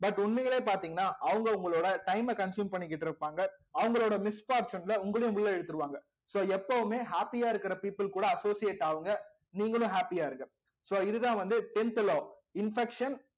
but உண்மையிலே பாத்தீங்கன்னா அவங்க உங்களோட time அ consume பண்ணிக்கிட்டு இருப்பாங்க அவங்களோட உங்களையும் உள்ள இழுத்துருவாங்க so எப்பவுமே happy யா இருக்கிற people கூட associate ஆவுங்க நீங்களும் happy ஆ இருங்க so இதுதான் வந்து tenth law infection